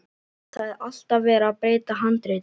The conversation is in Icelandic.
Það er alltaf verið að breyta handritinu.